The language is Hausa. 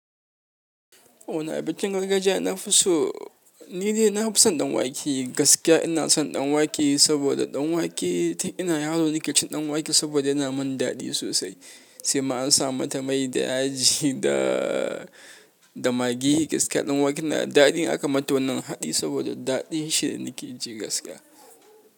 Wanne abincin gargajiya na fi so, ni dai na fi son ɗan wake. Gaskiya ina son ɗan wake saboda ɗan wake tun ina yaro na kaicin ɗan wake saboda yana mun daɗi sosai. Sai ma an sa mata mai da aji da, da maggi. Gaskiya ɗan wake yana daɗi, aka mata wannan haɗi saboda daɗin shi ne nake ji gaskiya.